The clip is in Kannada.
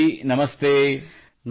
ಮಯೂರ್ ಜೀ ನಮಸ್ತೆ